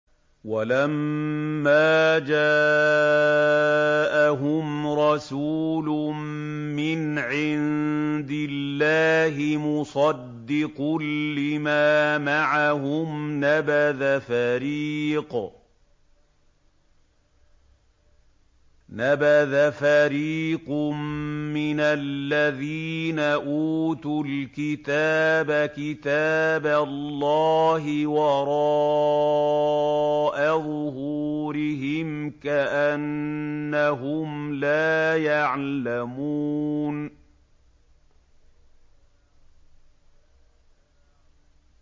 وَلَمَّا جَاءَهُمْ رَسُولٌ مِّنْ عِندِ اللَّهِ مُصَدِّقٌ لِّمَا مَعَهُمْ نَبَذَ فَرِيقٌ مِّنَ الَّذِينَ أُوتُوا الْكِتَابَ كِتَابَ اللَّهِ وَرَاءَ ظُهُورِهِمْ كَأَنَّهُمْ لَا يَعْلَمُونَ